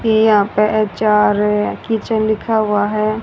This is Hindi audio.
ये यहां पे एच_आर_ए किचन लिखा हुआ है।